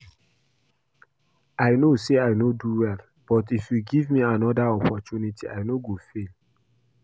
I know say I no do well but if you give me another opportunity I no go fail